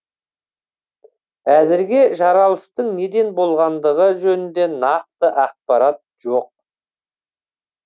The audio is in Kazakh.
әзірге жарылыстың неден болғандығы жөнінде нақты ақпарат жоқ